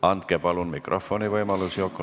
Andke palun mikrofon Yokole!